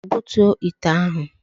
Butuo ite ahụ!